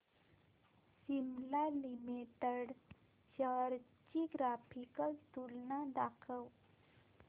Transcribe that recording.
Cipla limited shares ची graphical तुलना दाखव